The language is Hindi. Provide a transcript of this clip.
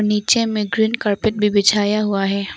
नीचे में ग्रीन कारपेट भी बिछाया हुआ है।